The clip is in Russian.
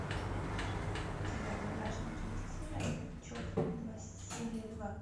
у тебя в загашнике есть сериал чоп два серия два